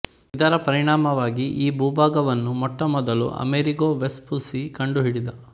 ಇದರ ಪರಿಣಾಮವಾಗಿ ಈ ಭೂಭಾಗವನ್ನು ಮೊಟ್ಟಮೊದಲು ಅಮೆರಿಗೊ ವೆಸ್ಪುಸ್ಸಿ ಕಂಡುಹಿಡಿದ